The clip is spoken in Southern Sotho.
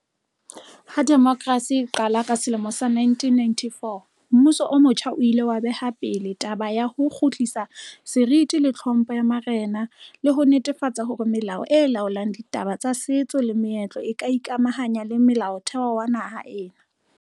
Ha demokrasi e qala ka sele mo sa 1994, mmuso o motjha o ile wa beha pele taba ya ho kgutlisa seriti le tlhompho ya marena le ho netefatsa hore melao e laolang ditaba tsa setso le meetlo e ikamahanya le Molaotheo wa naha ena.